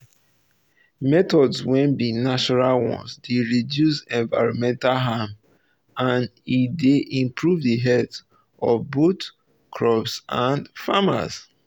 methods wey be natural ones dey reduce environmental harm and um e dey improve the health of both crops and farmers